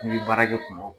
N'i ye baara kɛ kuma min